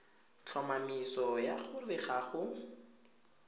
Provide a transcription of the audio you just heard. tlhomamiso ya gore ga go